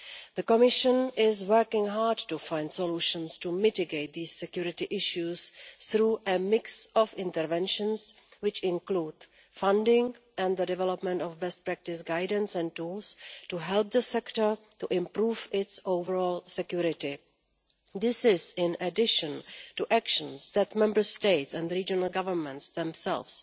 The Commission is working hard to find solutions to mitigate these security issues through a mix of interventions which include funding and the development of best practice guidance and tools to help the sector to improve its overall security. This is in addition to actions that Member States and regional governments themselves